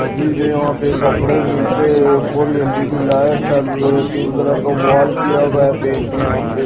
आबिदे यहां पे कपड़े मिलते हैं। ऊपर एल_ई_डी लाइट चालू है। पिंक कलर का वॉल किया गया पेंट्स यहां पे।